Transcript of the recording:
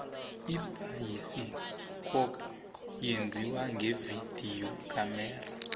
ibayisikapu yenziwa ngevidiyo khamera